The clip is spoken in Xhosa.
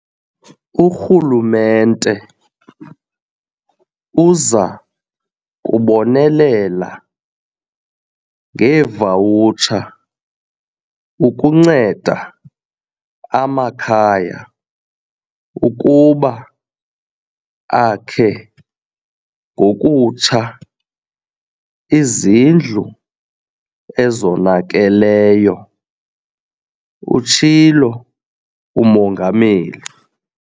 Urhulumente uza kubonelela ngeevawutsha ukunceda amakhaya ukuba akhe ngokutsha izindlu ezonakeleyo, utshilo uMongameli.